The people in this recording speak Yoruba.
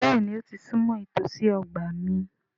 Béèni ó ti súnmọ́ ìtòsí ọgbà omi.